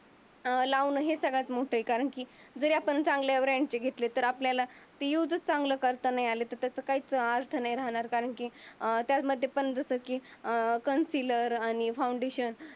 लावण हे सर्वात मोठं आहे. कारण की जरी आपण चांगल्या ब्रँडची घेतली तरी आपल्याला ते युजच करता नाही आलं. तर त्याचं काही अर्थ नाही राहणार कारण की अं त्याच मध्ये पण जस की अं कन्सीलर आणि फाउंडेशन